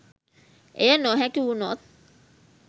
එය නොහැකි වුනොත්